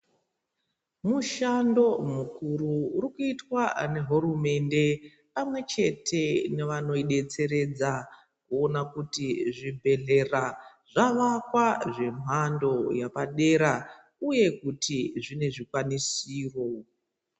Mushando mukuru urikuitwa ngehurumende pamwechete nevanoidetseredza kuona kuti zvibhedhlera zvavakwa zvemhando yepadera uye kuti zvine zvikwanisiro.